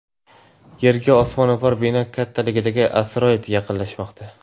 Yerga osmono‘par bino kattaligidagi asteroid yaqinlashmoqda.